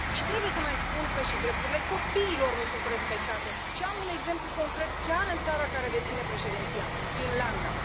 Trebuie să mai spun că și drepturile copiilor nu sunt respectate și am un exemplu concret chiar în țara care deține președinția, Finlanda.